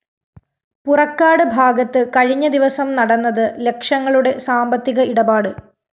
പുറക്കാട് ഭാഗത്ത് കഴിഞ്ഞദിവസം നടന്നത് ലക്ഷങ്ങളുടെ സാമ്പത്തിക ഇടപാട്